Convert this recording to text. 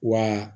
Wa